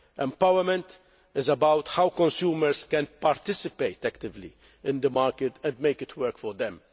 Empowerment is about how consumers can participate actively in the market and make it work for them.